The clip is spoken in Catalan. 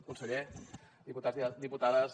conseller diputats diputades